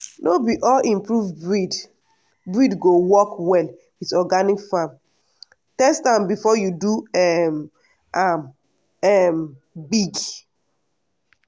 no be all improved breed breed go work well with organic farm—test am before you do um am um big.